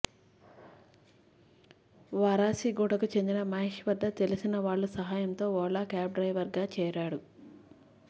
వారాసిగూడకు చెందిన మహేష్ వద్ద తెలిసినవాళ్ల సహాయంతో ఓలా క్యాబ్ డ్రైవర్గా చేరాడు